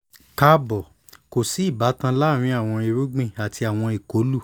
kaabo ko si ibatan laarin awọn irugbin ati awọn ikolu